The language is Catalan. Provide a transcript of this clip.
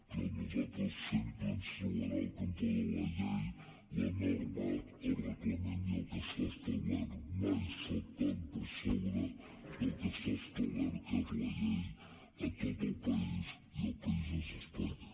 però a nosaltres sempre ens trobarà al cantó de la llei la norma el reglament i el que està establert mai saltant per sobre del que està establert que és la llei a tot el país i el país és espanya